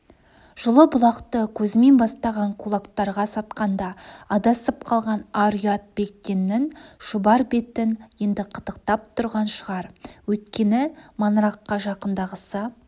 жылы-бұлақты кузьмин бастаған кулактарға сатқанда адасып қалған ар-ұят бектеннің шұбар бетін енді қытықтап тұрған шығар өйткені маңыраққа жақындағысы